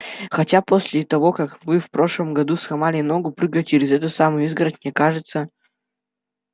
хотя после того как вы в прошлом году сломали ногу прыгая через эту самую изгородь мне кажется